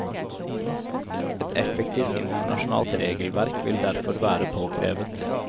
Et effektivt internasjonalt regelverk vil derfor være påkrevet.